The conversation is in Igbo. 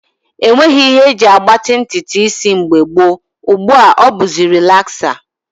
E nweghị ihe e ji agbatị ntụtụ isi mgbe gboo, ugbu a ọ bụzi relaksa